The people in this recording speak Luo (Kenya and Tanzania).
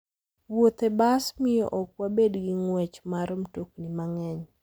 Wuoth e bas miyo ok wabed gi ng'wech mar mtokni mang'eny.